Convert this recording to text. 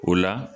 O la